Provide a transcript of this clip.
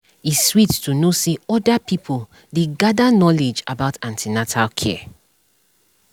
e sweet to know say other pipo dey gather knowledge about an ten atal care